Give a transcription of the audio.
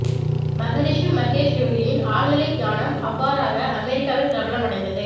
மகரிஷி மகேஷ் யோகியின் ஆழ்நிலைத் தியானம் அவ்வாறாக அமெரிக்காவில் பிரபலம் அடைந்தது